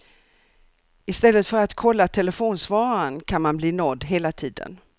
I stället för att kolla telefonsvararen kan man bli nådd hela tiden.